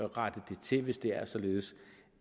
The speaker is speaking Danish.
rettet det til hvis det er således